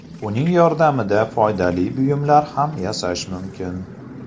Uning yordamida foydali buyumlar ham yasash mumkin.